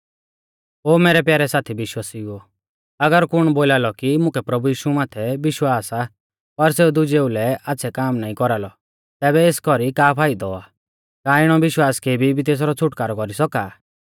ओ मैरै प्यारै साथी विश्वासिउओ अगर कुण बोलालौ कि मुकै प्रभु यीशु माथै विश्वास आ पर सेऊ दुजेऊ लै आच़्छ़ै काम नाईं कौरालौ तैबै एस कौरी का फाइदौ आ का इणौ विश्वास केबी भी तेसरौ छ़ुटकारौ कौरी सौका आ